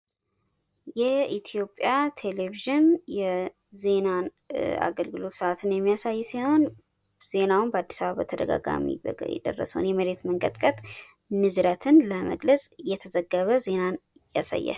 የኢትዮጵያ ቴሌቪዥን የዜና አገልግሎትን ስአትን የሚያሳይ ሲሆን ዜናውም በአዲስ አበባ በተደጋጋሚ የደረሰውን የመሬት መንቀጥቀጥ ንዝረትን ለመግለጽ እየተዘገበ ዜናን ያሳያል።